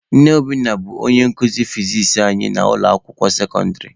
Nne Obinna bụ onye nkuzi fizis anyị n'ụlọ akwụkwọ sekọndịrị.